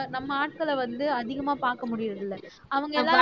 நம்ம ஆட்களை வந்து அதிகமா பார்க்க முடியறதில்லை அவங்கயெல்லாம்